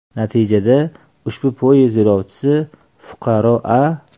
Natijada, ushbu poyezd yo‘lovchisi fuqaro A.